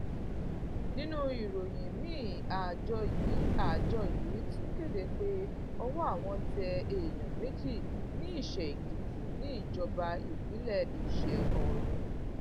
nínú ìròyìn miín àjọ yìí àjọ yìí tún kéde pé ọwọ àwọn tẹ èèyàn méjì ní iṣẹèkìtì níjọba ìbílẹ iṣẹọrun